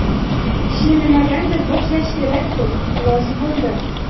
Ishni nimadandir boshlash kerak-ku, rozi bo‘ldim.